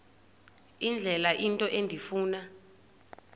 indlela into endifuna